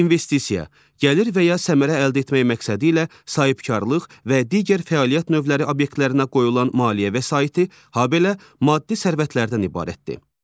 İnvestisiya gəlir və ya səmərə əldə etmək məqsədilə sahibkarlıq və digər fəaliyyət növləri obyektlərinə qoyulan maliyyə vəsaiti, habelə maddi sərvətlərdən ibarətdir.